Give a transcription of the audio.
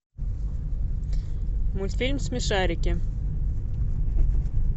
мультфильм смешарики